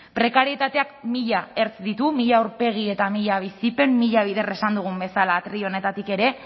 prekarietateak mila ertz ditu mila aurpegi eta mila bizipen mila bider esan dugun bezala atril honetatik ere